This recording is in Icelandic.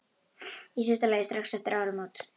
Í síðasta lagi strax eftir áramót.